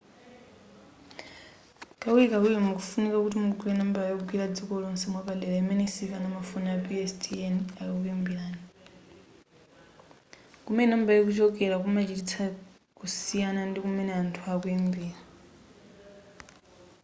kawirikawiri mukufunika kuti mugule nambala yogwira dziko lonse mwapadera imene sikana mafoni a pstn akakuyimbirani kumene nambala ikuchokera kumachititsa kusiyana ndi kumene anthu akuyimbira